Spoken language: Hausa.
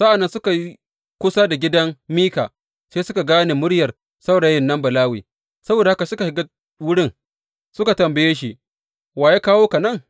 Sa’ad da suka yi kusa da gidan Mika, sai suka gane muryar saurayin nan Balawe; saboda haka suka shiga wurin suka tambaye shi, Wa ya kawo ka nan?